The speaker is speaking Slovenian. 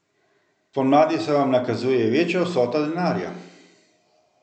Spomladi se vam nakazuje večja vsota denarja.